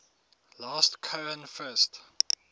last cohen first